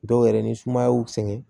Dɔw yɛrɛ ni sumaya y'u sɛgɛn